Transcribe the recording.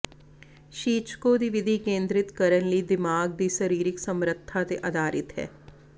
ਸ਼ੀਚਕੋ ਦੀ ਵਿਧੀ ਕੇਂਦਰਿਤ ਕਰਨ ਲਈ ਦਿਮਾਗ ਦੀ ਸਰੀਰਕ ਸਮਰੱਥਾ ਤੇ ਆਧਾਰਿਤ ਹੈ